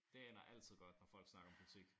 Det ender altid godt når folk snakker om politik